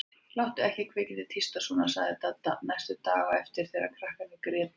Láttu ekki kvikindið tísta svona sagði Dadda næstu daga á eftir þegar krakkarnir grétu.